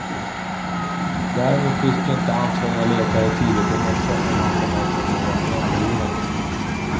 Däremot visste inte ansvariga läkare tidigt i morse om han kommer att få några men för livet.